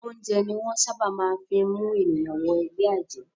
Oúnjẹ ni wọ́n ṣábà máa ń fí mú ènìyàn wọ ẹgbẹ́ àjẹ́.